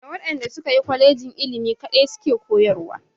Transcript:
Da waɗanda suka yi kolejin ilimi kaɗai su ke koyarwa.